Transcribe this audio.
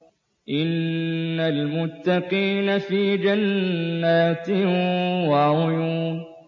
إِنَّ الْمُتَّقِينَ فِي جَنَّاتٍ وَعُيُونٍ